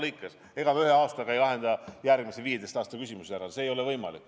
Aga ega me ühe aastaga ei lahenda järgmise 15 aasta küsimusi ära – see ei ole võimalik.